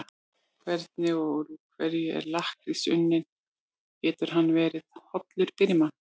Hvernig og úr hverju er lakkrís unninn og getur hann verið hollur fyrir mann?